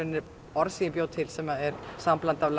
orð sem ég bjó til sem er sambland af